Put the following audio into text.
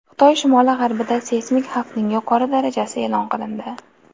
Xitoy shimoli-g‘arbida seysmik xavfning yuqori darajasi e’lon qilindi.